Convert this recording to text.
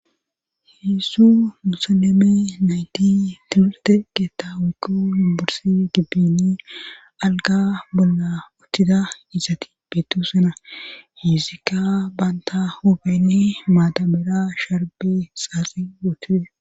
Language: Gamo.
heedzdzu musoleme nayti timirte keetta woykko yimborsi gibbini alga bolla uttida izati beettosona he izikka banta hupeni maata mera sharbe xaasi wootis